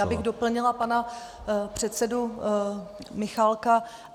Já bych doplnila pana předsedu Michálka.